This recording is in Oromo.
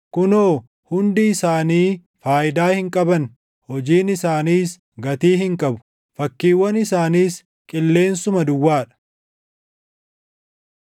Kunoo, hundi isaanii faayidaa hin qaban! Hojiin isaaniis gatii hin qabu; fakkiiwwan isaaniis qilleensuma duwwaa dha.